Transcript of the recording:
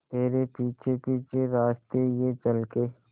तेरे पीछे पीछे रास्ते ये चल के